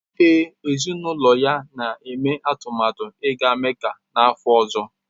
Ee, ezinụlọ ya na-eme atụmatụ ịga Mecca n’afọ ọzọ.